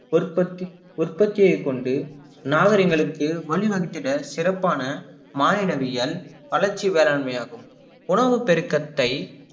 உற்பத்தி~ உற்பத்தியை கொண்டு நாகரீகங்களுக்கு வழிவகுத்துட சிறப்பான மாயனவியல் வளர்ச்சி வேளாண்மையாகும் உணவு பெருக்கத்தை